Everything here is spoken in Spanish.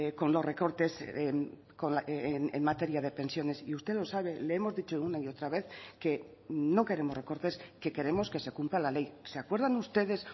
con los recortes en materia de pensiones y usted lo sabe le hemos dicho una y otra vez que no queremos recortes que queremos que se cumpla la ley se acuerdan ustedes